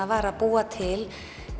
var að búa til